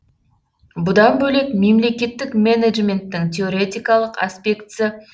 бұдан бөлек мемлекеттік менеджменттің теоретикалық аспектісі